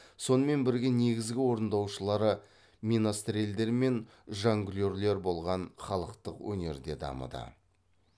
сонымен бірге негізгі орындаушылары менастрельдер мен жонглерлер болған халықтық өнер де дамыды